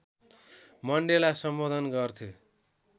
Mandela सम्बोधन गर्थे